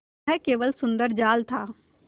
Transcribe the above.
वह केवल सुंदर जाल था